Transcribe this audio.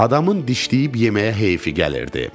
Adamın dişləyib yeməyə heyfi gəlirdi.